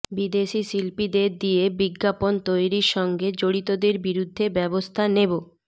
বিদেশি শিল্পীদের দিয়ে বিজ্ঞাপন তৈরির সঙ্গে জড়িতদের বিরুদ্ধে ব্যবস্থা নেব